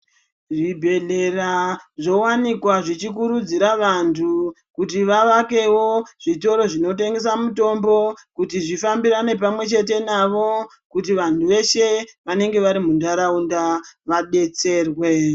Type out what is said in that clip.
Zvibhedhlera zvowanikwa zvichikurudzira vantu kuti vavakewo zvitoro zvinotengesa mutombo kuti zvifambirane pamwechete navo kuti vantu veshe vanenge vari munharaunda vadetserwe.